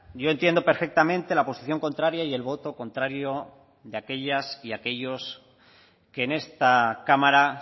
yo entiendo perfectamente la posición contraria y el voto contrario de aquellas y aquellos que en esta cámara